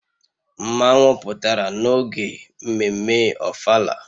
Mmanwu pụtara n'oge mmemme ofala